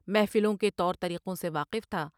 محفلوں کے طور طریقوں سے واقف تھا ۔